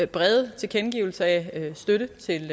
brede tilkendegivelse af støtte til